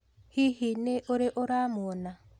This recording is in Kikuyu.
Hihi nĩ ũrĩ uramuona?